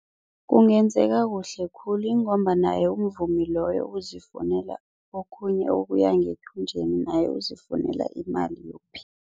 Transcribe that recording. Kungenzeka kuhle khulu ingomba naye umvumi loyo uzifunela okhunye okuya ngethunjini, naye uzifunela imali